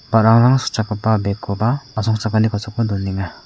ba·rarang sikchakgipa bek koba asongchakani kosako donenga.